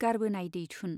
गारबोनाय दैथुन